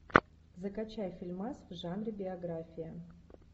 закачай фильмас в жанре биография